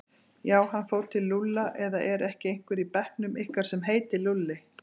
Já, hann fór til Lúlla eða er ekki einhver í bekknum ykkar sem heitir Lúlli?